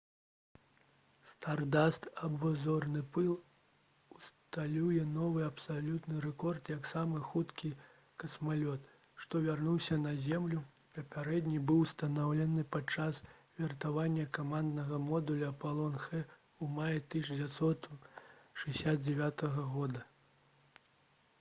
«стардаст» або «зорны пыл» усталюе новы абсалютны рэкорд як самы хуткі касмалёт што вярнуўся на зямлю. папярэдні быў усталяваны падчас вяртання каманднага модуля «апалон х» у маі 1969 г